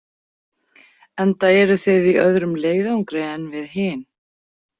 Enda eruð þið í öðrum leiðangri en við hin.